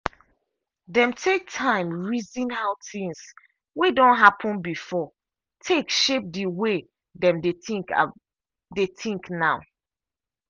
dem take time reason how things wey don happen before take shape the way dem dey think dey think now.